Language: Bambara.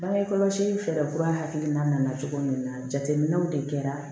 Bange kɔlɔsi fɛɛrɛ kura hakilina nana cogo min na jateminɛw de kɛra